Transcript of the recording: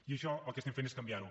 i això el que fem és canviar ho